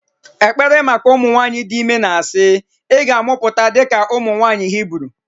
ekpere maka ụmụ nwanyị dị ime na-asị "ị ga-amụpụta dịka ụmụ nwanyị Hibru"